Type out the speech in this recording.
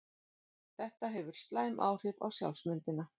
Þetta hefur slæm áhrif á sjálfsmyndina.